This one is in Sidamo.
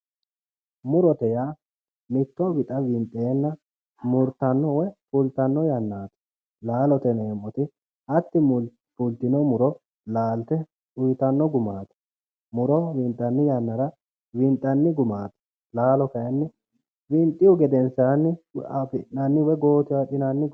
Murote yaa mitto wixa winxeenna murtanno murtanno woyi fultanno yannaati laalote yineemmoti hatti fultino muro laalte uyitanno gumaati muro winxanni yannnara winxanni gumaati laalo kayinni winxihu gedensanni afi'nanni woyi gootaadhinanni gumaati